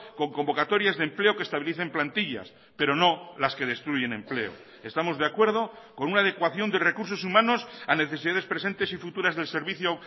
con convocatorias de empleo que estabilicen plantillas pero no las que destruyen empleo estamos de acuerdo con una adecuación de recursos humanos a necesidades presentes y futuras del servicio